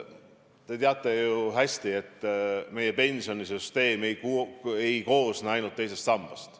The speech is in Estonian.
Te teate ju hästi, et meie pensionisüsteem ei koosne ainult teisest sambast.